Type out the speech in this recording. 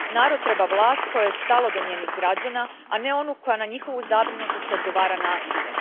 Narod treba vlast kojoj je stalo do njenih građana, a ne onu koja na njihovu zabrinutost odgovara nasiljem.